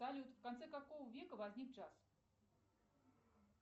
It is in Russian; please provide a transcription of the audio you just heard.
салют в конце какого века возник джаз